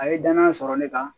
A ye danaya sɔrɔ ne kan